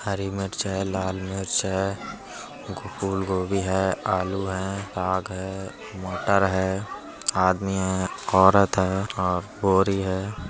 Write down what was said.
हरी मिर्च है लाल मिर्च है फूलगोभी है आलू है साग है मटर है आदमी है औरत है और बोरी है।